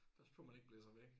Passe på man ikke blæser væk